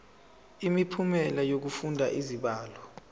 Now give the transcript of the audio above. imiphumela yokufunda izibalo